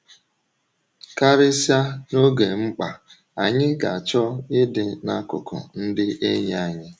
Karịsịa n’oge mkpa, anyị ga-achọ ịdị n’akụkụ ndị enyi anyị.